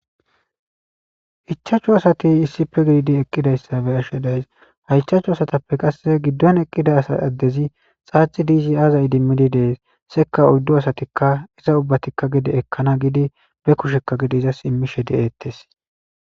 Ichaachu asati issife gididi eqqidayssabe ashshe days hayichachu asatappe qasse giddon eqqida asa addezi xaaxi diizi aazayi dimmidi dees seka udddo asatikka iza ubbatikka gide ekkana gidi be kushekka gidi izas immishe de7eettes